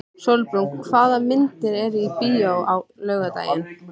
Sólbrún, hvaða myndir eru í bíó á laugardaginn?